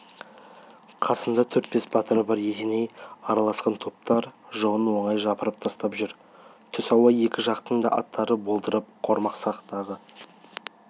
қасында төрт-бес батыры бар есеней араласқан топтар жауын оңай жапырып тастап жүр түс ауа екі жақтың да аттары болдырып қорамсақтағы